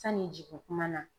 Sani jigin kuma na.